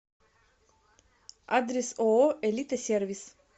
адрес ооо элита сервис